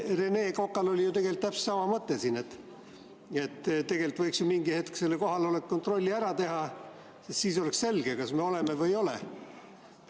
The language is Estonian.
Rene Kokal oli ju täpselt sama mõte, et tegelikult võiks mingil hetkel kohaloleku kontrolli ära teha, sest siis oleks selge, kas me oleme kohal või ei ole.